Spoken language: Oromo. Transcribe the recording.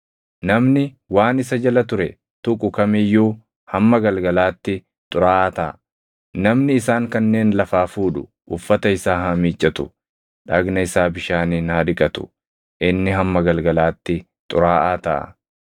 Namni waan isa jala ture tuqu kam iyyuu hamma galgalaatti xuraaʼaa taʼa. Namni isaan kanneen lafaa fuudhu uffata isaa haa miiccatu; dhagna isaa bishaaniin haa dhiqatu; inni hamma galgalaatti xuraaʼaa taʼa.